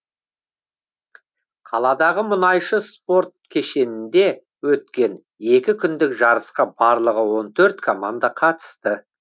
қаладағы мұнайшы спорт кешенінде өткен екі күндік жарысқа барлығы он төрт команда қатысты